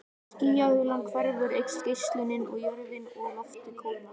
Þegar skýjahulan hverfur eykst geislunin og jörðin og loftið kólna.